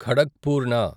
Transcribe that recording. ఖడక్పూర్ణ